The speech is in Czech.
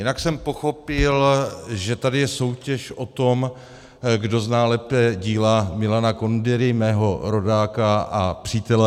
Jinak jsem pochopil, že tady je soutěž o tom, kdo zná lépe díla Milana Kundery, mého rodáka a přítele.